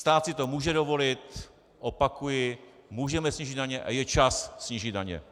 Stát si to může dovolit, opakuji, můžeme snížit daně a je čas snížit daně.